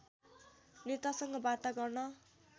नेतासँग वार्ता गर्न